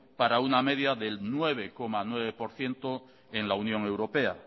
para una media del nueve coma nueve por ciento en la unión europea